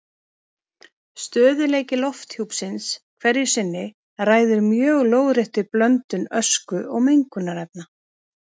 Stöðugleiki lofthjúpsins hverju sinni ræður mjög lóðréttri blöndun ösku og mengunarefna.